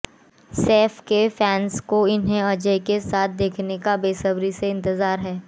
सैफ के फैन्स को उन्हें अजय के साथ देखने का बेसब्री से इंतजार है